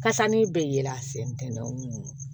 Kasani bɛ yɛlɛn an sen tɛ